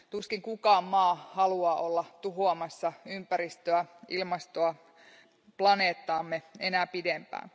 Tuskin mikään maa haluaa olla tuhoamassa ympäristöä, ilmastoa, planeettaamme enää pidempään.